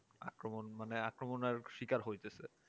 আক্রমণ মানে আক্রমণের শিকার হইতেছে